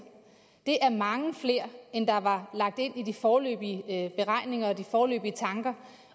det er mange flere end der var lagt ind i de foreløbige beregninger efter de foreløbige tanker